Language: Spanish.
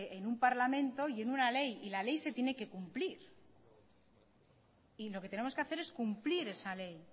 en un parlamento y en una ley y la ley se tiene que cumplir y lo que tenemos que hacer es cumplir esa ley